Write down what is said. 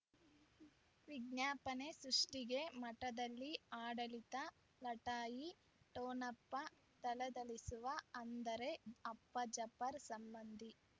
ವಿಜ್ಞಾಪನೆ ಸೃಷ್ಟಿಗೆ ಮಠದಲ್ಲಿ ಆಡಳಿತ ಲಟಾಯಿ ಠೊಣಪ ಧಳಧಳಿಸುವ ಅಂದರೆ ಅಪ್ಪ ಜಾಫರ್ ಸಂಬಂಧಿ